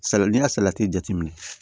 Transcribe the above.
Saladi salati jateminɛ